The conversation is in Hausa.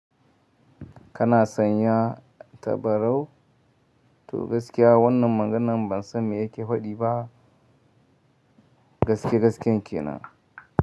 Kana son ya tabarau? To gaskiya wannan maganan ban sani me yake fadi ba. Gaske gasken kenan.